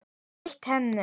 Réttir henni.